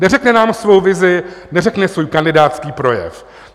Neřekne nám svou vizi, neřekne svůj kandidátský projev.